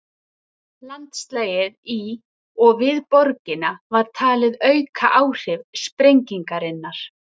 Landslagið í og við borgina var talið auka áhrif sprengingarinnar.